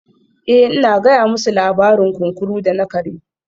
Eh ina gaya musu labarin kunkuru da na kare